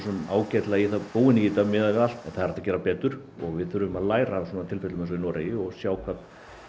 ágætlega búin í þetta miðað við allt en það er hægt að gera betur og við þurfum að læra af svona tilfellum eins og í Noregi og sjá hvað